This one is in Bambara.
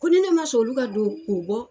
Ko ni ne ma son olu ka don, k'u bɔ